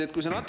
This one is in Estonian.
Teie aeg!